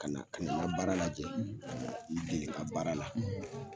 Kana ka na n ga baara lajɛ ka na i dege n ga baara la